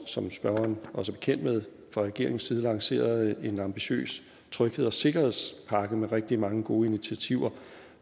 som spørgeren også er bekendt med fra regeringens side lancerede en ambitiøs trygheds og sikkerhedspakke med rigtig mange gode initiativer